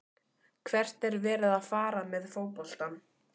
Hvert er verið að fara með fótboltann?